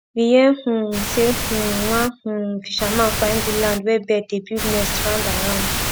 we hear um say um one um fisherman find good land where bird dey build nest round and round